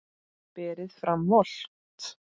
Berið fram volgt.